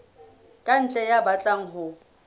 ka ntle ya batlang ho